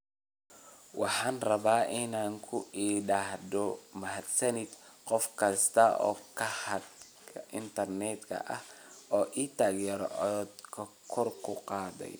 “Waxaan rabaa inaan ku idhaahdo mahadsanid qof kasta oo khadka internetka ah oo i taageeray codkoodana kor u qaaday.